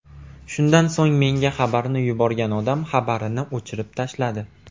Shundan so‘ng menga xabarni yuborgan odam xabarini o‘chirib tashladi.